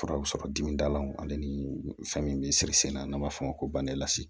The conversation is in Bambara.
Fura bɛ sɔrɔ dimi dalaw ale ni fɛn min bɛ sikisɛnna n'a b'a fɔ o ma ko bang